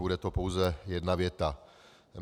Bude to pouze jedna věta.